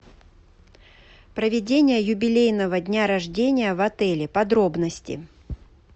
проведение юбилейного дня рождения в отеле подробности